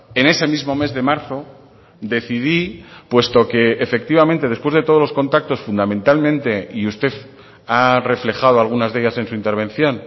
en ese mismo mes de marzo decidí puesto que efectivamente después de todos los contactos fundamentalmente y usted ha reflejado algunas de ellas en su intervención